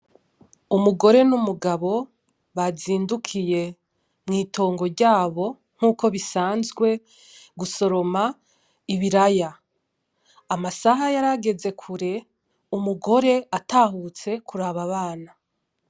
Umugore n’umugabo bazindukiye mw’itongo ryabo, nk’uko bisanzwe, gusoroma ibiraya. Amasaha yarageze kure umugore atahutse kuraba abana.